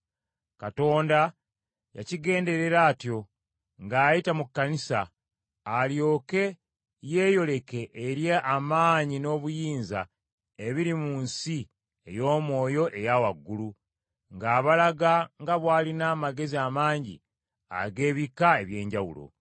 Katonda yakigenderera atyo, ng’ayita mu kkanisa, alyoke yeeyoleke eri amaanyi n’obuyinza ebiri mu nsi ey’omwoyo eya waggulu, ng’abalaga nga bw’alina amagezi amangi ag’ebika eby’enjawulo.